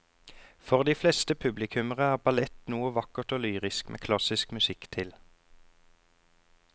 For de fleste publikummere er ballett noe vakkert og lyrisk med klassisk musikk til.